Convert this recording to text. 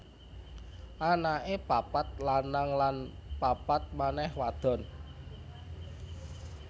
Anaké papat lanang lan papat manèh wadon